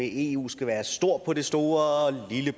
eu skal være stor på det store og lille